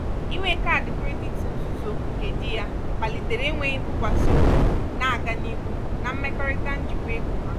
inwe kaadị kredit nzuzo nke di ya kpalitere enweghị ntụkwasị obi na-aga n'ihu na mmekọrịta njikwa ego ha.